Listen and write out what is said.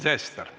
Sven Sester!